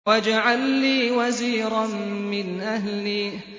وَاجْعَل لِّي وَزِيرًا مِّنْ أَهْلِي